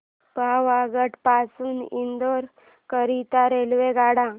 पावागढ पासून इंदोर करीता रेल्वेगाड्या